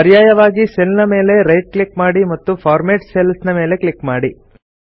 ಪರ್ಯಾಯವಾಗಿ ಸೆಲ್ ನ ಮೇಲೆ ರೈಟ್ ಕ್ಲಿಕ್ ಮಾಡಿ ಮತ್ತು ಫಾರ್ಮ್ಯಾಟ್ ಸೆಲ್ಸ್ ಮೇಲೆ ಕ್ಲಿಕ್ ಮಾಡಿ